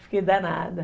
Fiquei danada.